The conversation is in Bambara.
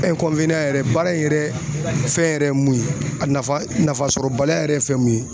yɛrɛ baara in yɛrɛ fɛn yɛrɛ ye mun ye, a nafa nafasɔrɔbaliya yɛrɛ ye fɛn mun ye.